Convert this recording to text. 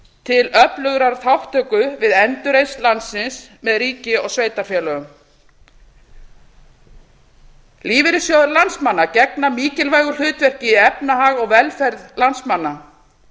til öflugrar þátttöku við endurreisn landsins með ríki og sveitarfélögum lífeyrissjóðir landsmanna gegna mikilvægu hlutverki í efnahag og velferð landsmanna